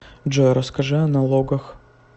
джой расскажи о налогах